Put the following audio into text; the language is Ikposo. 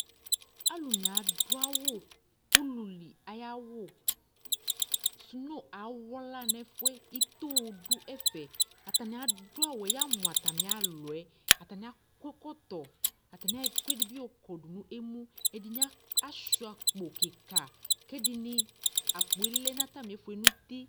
alu ni adu awu ụlili aya wu suno awla nu ɛfɛ ïto du ɛfɛ atani adu awuɛ ya mu atamia luɛ atani akɔ ɛkɔtɔ atani ayɔ ɛkɔɛ di bi yɔ kɔ né mu ɛdini achua akpo kika ƙɛ ɛdini akpo lɛ na tamifɛ nu uti